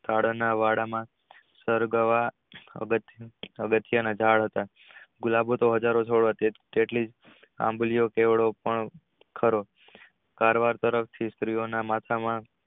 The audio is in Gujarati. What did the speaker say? આગળ ના વાડા માં સરગવા પગથિયાં ના ઝાડ હતા ગુલાબો તો હઝારો મારવા તરફથી